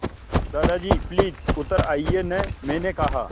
दादाजी प्लीज़ उतर आइये न मैंने कहा